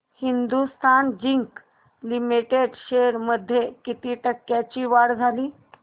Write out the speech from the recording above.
Hindustan zinc limited shares मध्ये किती टक्क्यांची वाढ झाली